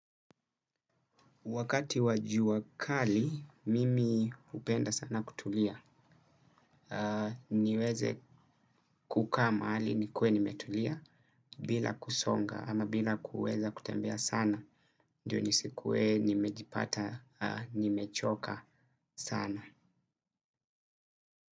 Wakati wajuwa kali mimi upenda sana kutulia. Niweze kuka maali nikue nimetulia bila kusonga ama bila kuweza kutembea sana. Ndiyo ni sikuwe nimejipata nimechoka sana.